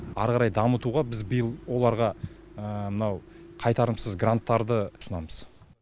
ары қарай дамытуға біз биыл оларға мынау қайтарымсыз гранттарды ұсынамыз